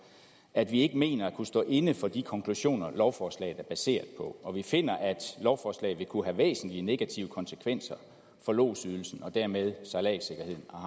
at vi ikke mener at kunne stå inde for de konklusioner lovforslaget er baseret på og vi finder at lovforslaget vil kunne have væsentlige negative konsekvenser for lodsydelsen og dermed sejladssikkerheden og